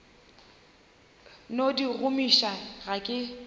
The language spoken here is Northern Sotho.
no di gomiša ga ke